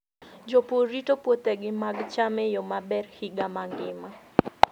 Jopur rito puothegi mag cham e yo maber higa mangima.